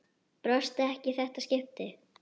Brosti ekki í þetta skipti.